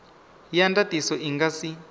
ya ndatiso i nga si